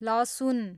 लसुन